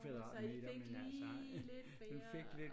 Så i fik lige lidt mere